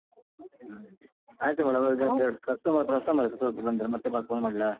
ಹ್ಮ್. ಆಯ್ತು madam ರೆ ಒಂದೆರಡು customer ಇದ್ರು ಸ್ವಲ್ಪ ಸ್ವಲ್ಪ ಬಂದೆ ಮತ್ತೆ phone ಮಾಡ್ಲಾ?